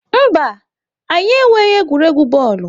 Mba, anyị enweghị egwuregwu bọọlụ.